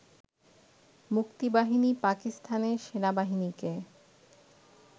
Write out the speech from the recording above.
মুক্তিবাহিনী পাকিস্তানের সেনাবাহিনীকে